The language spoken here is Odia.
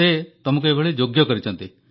ସେ ଆପଣଙ୍କୁ ଏହିପରି ଯୋଗ୍ୟ କରିଛନ୍ତି